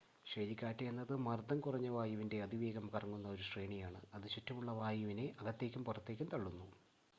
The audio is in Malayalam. ചുഴലിക്കാറ്റ് എന്നത് മർദ്ദം കുറഞ്ഞ വായുവിൻറ്റെ അതിവേഗം കറങ്ങുന്ന ഒരു ശ്രേണിയാണ് അത് ചുറ്റുമുള്ള വായുവിനെ അകത്തേക്കും പുറത്തേക്കും തള്ളുന്നു